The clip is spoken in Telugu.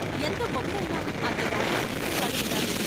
ఎంత మొగుడైనా అతగాడు అందించే వాడు గదా.